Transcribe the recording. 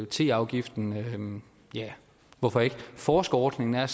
teafgiften ja hvorfor ikke forskerordningen er